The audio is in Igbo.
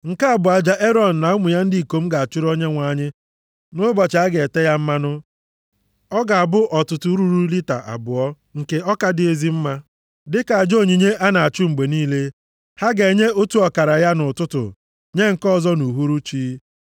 “Nke a bụ aja Erọn na ụmụ ya ndị ikom ga-achụrụ Onyenwe anyị nʼụbọchị a ga-ete ya mmanụ. Ọ ga-abụ ọtụtụ ruru lita abụọ nke ọka dị ezi mma dịka aja onyinye a na-achụ mgbe niile. Ha ga-enye otu ọkara ya nʼụtụtụ, nye nke ọzọ nʼuhuruchi.